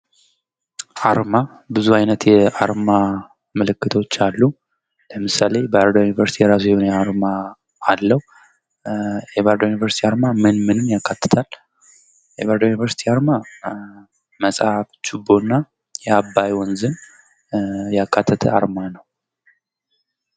አርማ ብዙ አይነት የአርማ ምልክቶች አሉ ። ለምሳሌ ባህር ዳር ዩኒቨርሲቲ የራሱ የሆነ አርማ አለው ። የባህር ዳር ዩኒቨርሲቲ አርማ ምን ምንን ያካትታል? የባህር ዳር ዩኒቨርሲቲ አርማ መፅሐፍ ችቦ እና የአባይ ወንዝን ያካተተ አርማ ነው ።